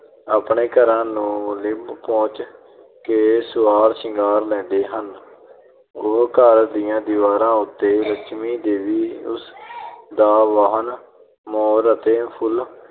ਆਪਣੇ ਘਰਾਂ ਨੂੰ ਲਿਪ ਪੋਚ ਕੇ ਸਵਾਰ ਸ਼ਿੰਗਾਰ ਲੈਂਦੇ ਹਨ ਉਹ ਘਰ ਦੀਆਂ ਦੀਵਾਰਾਂ ਉੱਤੇ ਲਕਸ਼ਮੀ ਦੇਵੀ ਉਸ ਦਾ ਵਾਹਨ ਮੋਰ ਅਤੇ ਫੁੱਲ